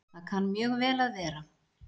Það kann mjög vel að vera